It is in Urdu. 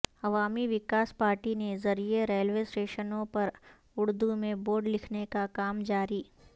عوامی وکاس پارٹی کے ذریعے ریلوے اسٹیشنوں پر اردو میں بورڈ لکھنے کا کام جاری